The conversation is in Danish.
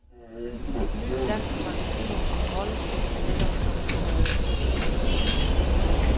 Et nyt dansk magasin om rollespil er netop kommet på gaden.